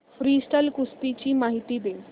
freestyle कुस्ती ची माहिती दे